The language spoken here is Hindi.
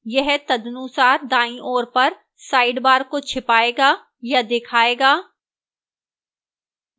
यह तदनुसार दाईं ओर पर sidebar को छिपाएगा या दिखाएगा